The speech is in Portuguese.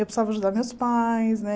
Eu precisava ajudar meus pais, né?